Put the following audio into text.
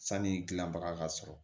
Sani dilanbaga ka sɔrɔ